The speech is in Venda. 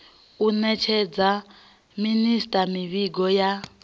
u nekedza minisita mivhigo ya